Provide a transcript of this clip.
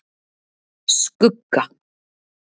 Skugga